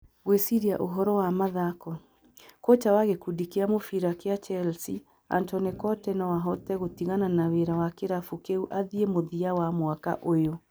(Gwĩciria ũhoro wa mathako) Kocha wa gĩkundi kĩa mũbira kĩa Chelsea Antonio Conte no ahote gũtigana na wĩra wa kĩrabu kĩu athiĩ mũthia wa mwaka ũyũ.